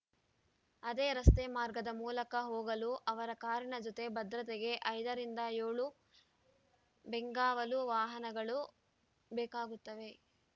ಅದೇ ರಸ್ತೆ ಮಾರ್ಗದ ಮೂಲಕ ಹೋಗಲು ಅವರ ಕಾರಿನ ಜೊತೆ ಭದ್ರತೆಗೆ ಐದ ರಿಂದ ಏಳು ಬೆಂಗಾವಲು ವಾಹನಗಳು ಬೇಕಾಗುತ್ತವೆ